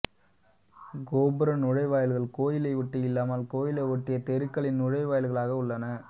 கோபுர நுழைவாயில்கள் கோயிலை ஒட்டி இல்லாமல் கோயிலை ஒட்டிய தெருக்களின் நுழைவாயில்களாக உள்ளன